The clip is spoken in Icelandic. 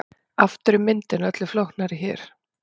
Aftur er myndin öllu flóknari hér.